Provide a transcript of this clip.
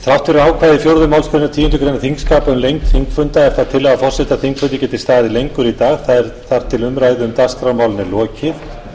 þrátt fyrir ákvæði fjórðu málsgreinar tíundu greinar þingskapa um lengd þingfunda er það tillaga forseta að þingfundur geti staðið lengur í dag þar til umræðu um